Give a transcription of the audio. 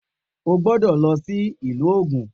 O gbọ́dọ̀ lọ sí ìlú Ògùn